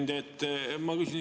Hea ettekandja!